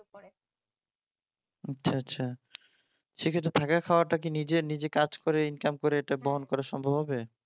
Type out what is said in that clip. আচ্ছা আচ্ছা সেক্ষেত্রে থাকা খাওয়াটা কি নিজের নিজের কাজ করে ইনকাম করে সেটা বহন করা সম্ভব হবে